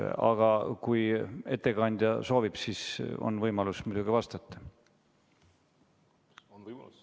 Aga kui ettekandja soovib, siis on võimalus muidugi vastata.